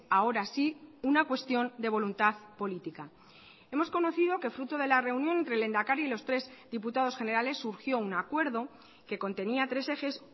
ahora sí una cuestión de voluntad política hemos conocido que fruto de la reunión entre el lehendakari y los tres diputados generales surgió un acuerdo que contenía tres ejes